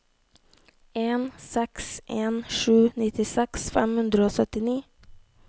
en seks en sju nittiseks fem hundre og syttini